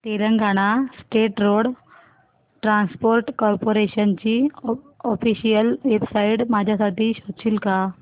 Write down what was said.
Telangana state road transport corporation ची official website माझ्यासाठी शोधशील का